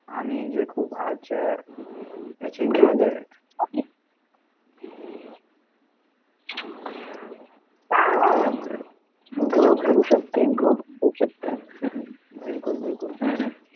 आणि जे खूप आजच्या बिलकुल बिलकुल